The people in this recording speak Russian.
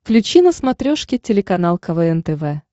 включи на смотрешке телеканал квн тв